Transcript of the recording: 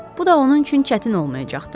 Bu da onun üçün çətin olmayacaqdı.